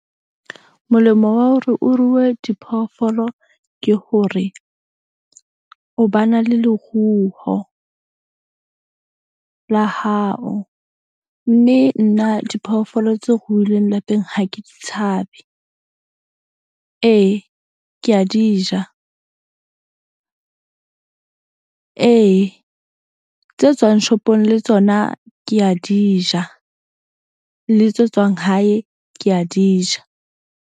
Molemo wa hore o ruwe diphoofolo ke hore o ba na le leruho la hao. Mme nna diphoofolo tse ruhileng lapeng ha ke di tshabe. Ee, ke a di ja. Ee tse tswang shop-ong le tsona ke a di ja le tse tswang hae ke a di ja.